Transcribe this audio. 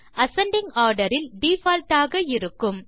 ascending order இல் default ஆக இருக்கும்